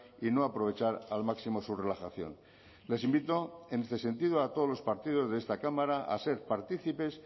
y no aprovechar al máximo su relajación les invito en este sentido a todos los partidos de esta cámara a ser partícipes